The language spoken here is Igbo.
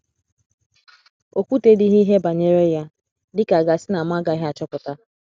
O kwutedịghị ihe banyere ya, dị ka a ga - asị na mụ agaghị achọpụta. ”